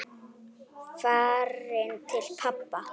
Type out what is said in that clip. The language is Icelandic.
Farin til pabba.